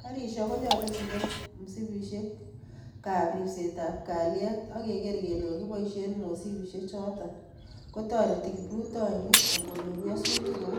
Garisyek konyolu kende msipisyekab ribseetab kalyet ak keger kele kakiboisye, msipisyechotok kotoreti kiprutoinik angonyoor nyasutiik kou